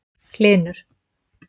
Hlynur